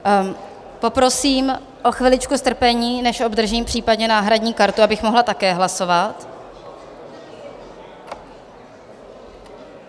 Poprosím o chviličku strpení, než obdržím případně náhradní kartu, abych mohla také hlasovat.